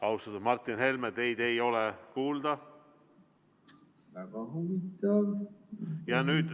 Austatud Martin Helme, teid ei ole kuulda.